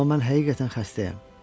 Amma mən həqiqətən xəstəyəm.